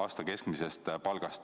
aasta keskmisest palgast.